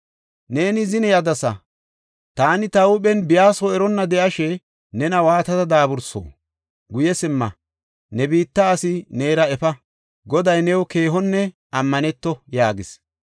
Neeni zine yadasa; taani ta huuphen biya soo eronna de7ashe, nena waatada daaburso? Guye simma; ne biitta asi neera efa. Goday new keehonne ammaneto!” yaagis.